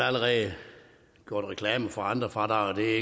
allerede gjort reklame for andre fradrag det er